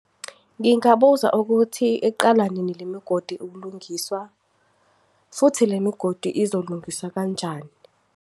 Ngingabuza ukuthi, iqala nini lemigodi ukulungiswa? Futhi, le migodi izolungiswa kanjani?